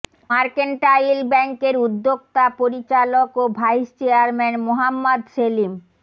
mercantile ব্যাংকের উদ্যোক্তা পরিচালক ও ভাইস চেয়ারম্যান মোহাম্মদ সেলিম